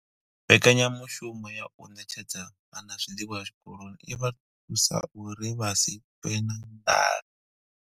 Mbekanya mushumo ya u ṋetshedza vhana zwiḽiwa zwikoloni i vha thusa uri vha si ṱwe na nḓala.